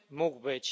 mógł być